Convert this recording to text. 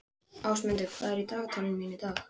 Ásmundur, hvað er á dagatalinu mínu í dag?